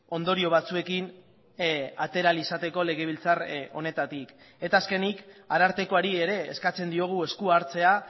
ondorio batzuekin atera ahal izateko legebiltzar honetatik eta azkenik arartekoari ere eskatzen diogu eskua hartzea